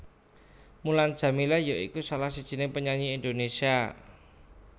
Mulan Jameela ya iku salah sijiné penyanyi Indonésia